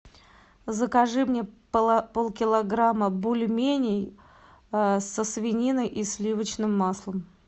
закажи мне полкилограмма бульменей со свининой и сливочным маслом